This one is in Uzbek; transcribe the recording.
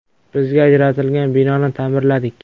Bizga ajratilgan binoni ta’mirladik.